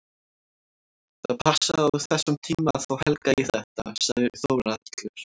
Það passaði á þessum tíma að fá Helga í þetta, sagði Þórhallur.